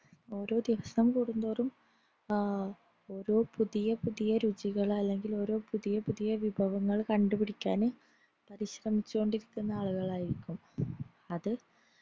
ഓരോ ദിവസം കൂടുന്തോറും അഹ് ഓരോ പുതിയ പുതിയ രുചികൾ അല്ലെങ്കിൽ ഓരോ പുതിയ പുതിയ വിഭവങ്ങൾ കണ്ടുപിടിക്കാൻ പരിശ്രമിച്ചോണ്ടിരിക്കുന്ന ആളുകളായിരിക്കും അത്